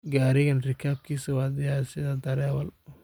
Garigan rikapkisaa wa diyar siidah darawal.